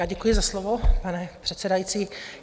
Já děkuji za slovo, pane předsedající.